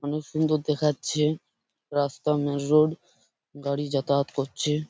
অনেক সুন্দর দেখাচ্ছে রাস্তার মেন রোড গাড়ি যাতায়াত করছে।